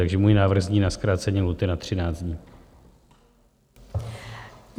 Takže můj návrh zní: na zkrácení lhůty na 13 dní.